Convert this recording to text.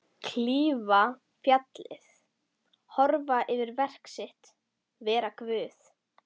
Klífa fjallið, horfa yfir verk sitt, vera Guð.